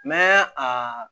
Mɛ a